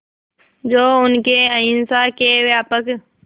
जो उनके अहिंसा के व्यापक